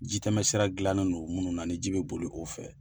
Jitɛmɛ sira gilannen no munnu na ni ji bɛ boli o fɛ.